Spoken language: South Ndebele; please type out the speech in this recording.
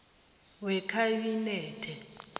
wekhabinethe